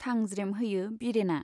थांज्रेम होयो बिरेना।